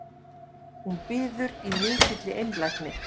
Hún biður í mikilli einlægni